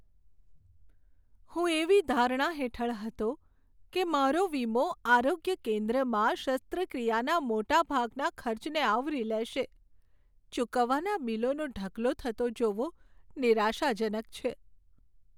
હું એવી ધારણા હેઠળ હતો કે મારો વીમો આરોગ્ય કેન્દ્રમાં શસ્ત્રક્રિયાના મોટા ભાગના ખર્ચને આવરી લેશે. ચૂકવવાના બિલોનો ઢગલો થતો જોવો નિરાશાજનક છે.